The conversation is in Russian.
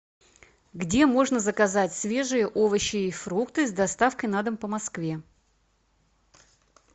где можно заказать свежие овощи и фрукты с доставкой на дом по москве